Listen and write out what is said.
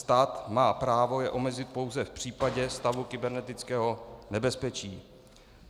Stát má právo je omezit pouze v případě stavu kybernetického nebezpečí.